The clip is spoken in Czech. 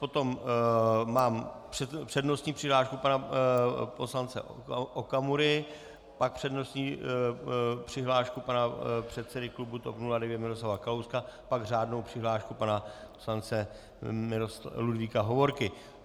Potom mám přednostní přihlášku pana poslance Okamury, pak přednostní přihlášku pana předsedy klubu TOP 09 Miroslava Kalouska, pak řádnou přihlášku pana poslance Ludvíka Hovorky.